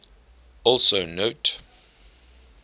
also note